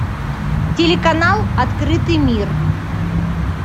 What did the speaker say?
телеканал открытый мир